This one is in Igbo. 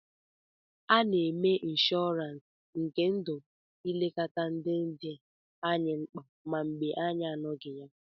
A na-eme inshọransi nke ndụ ilekọta ndị dị anyị mkpa ma mgbe anyị na-anọghị ya.